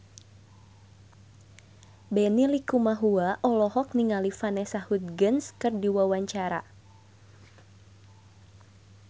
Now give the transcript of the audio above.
Benny Likumahua olohok ningali Vanessa Hudgens keur diwawancara